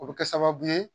O bɛ kɛ sababu ye